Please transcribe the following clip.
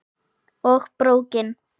Og BRÓKIN!